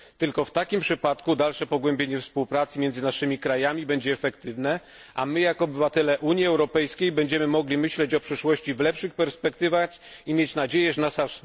Tylko w takim przypadku dalsze pogłębienie współpracy między naszymi krajami będzie efektywne, a my jako obywatele Unii Europejskiej będziemy mogli myśleć o przyszłości w lepszych perspektywach i mieć nadzieję, że nasza